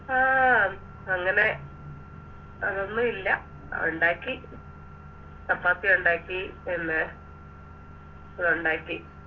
ആ അങ്ങനെ അതൊന്നുവില്ല ഒണ്ടാക്കി ചപ്പാത്തി ഒണ്ടാക്കി പിന്നെ ഒണ്ടാക്കി